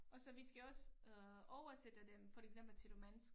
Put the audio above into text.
Og så vi skal også øh oversætte dem for eksempel til romænsk